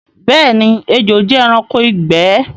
Bẹẹni, ẹjò jẹ ẹranko igbẹ̀